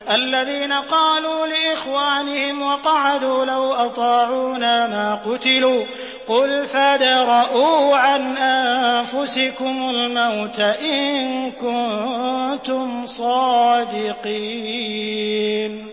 الَّذِينَ قَالُوا لِإِخْوَانِهِمْ وَقَعَدُوا لَوْ أَطَاعُونَا مَا قُتِلُوا ۗ قُلْ فَادْرَءُوا عَنْ أَنفُسِكُمُ الْمَوْتَ إِن كُنتُمْ صَادِقِينَ